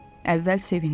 Əvvəl sevindi.